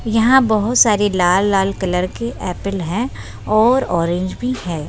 यहाँ बहुत सारे लाल-लाल कलर के एप्पल है और ऑरज भी हैं।